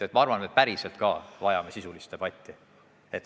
Ma arvan, et me päriselt ka vajame sisulist debatti.